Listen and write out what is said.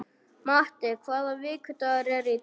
Matti, hvaða vikudagur er í dag?